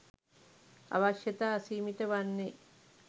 අවශ්‍යතා අසීමිත වන්නේ